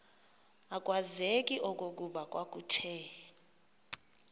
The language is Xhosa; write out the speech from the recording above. akwazeki okokuba kwakuthe